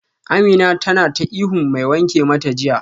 Amina tana ta ihun mai wanke mata jiya